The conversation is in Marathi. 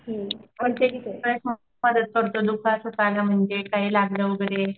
मदत करतो काही म्हणजे काही लागलं वगैरे.